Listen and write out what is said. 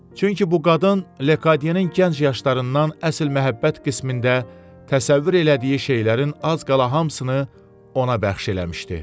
Çünki bu qadın Lekadyenin gənc yaşlarından əsl məhəbbət qismində təsəvvür elədiyi şeylərin az qala hamısını ona bəxş eləmişdi.